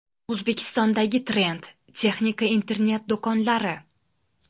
O‘zbekistondagi trend: texnika internet-do‘konlari.